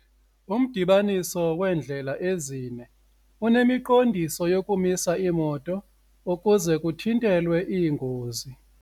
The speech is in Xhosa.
Umdibaniso weendlela ezine unemiqondiso yokumisa iimoto ukuze kuthintelwe iingozi.